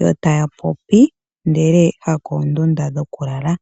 yo taya popi ndele hako oondundu dhoku lala.